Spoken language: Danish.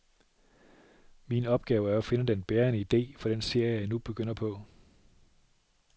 Min opgave er at finde den bærende ide for den serie, jeg nu begynder på.